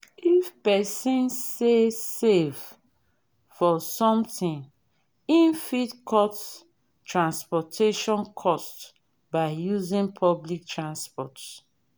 if person sey save for something im fit cut transportation cost by using public transport